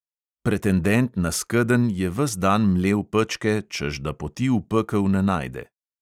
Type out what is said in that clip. Pretendent na skedenj je ves dan mlel pečke, češ da poti v pekel ne najde.